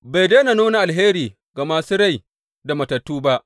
Bai daina nuna alheri ga masu rai da matattu ba.